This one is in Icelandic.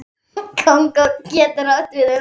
Kongó getur átt við um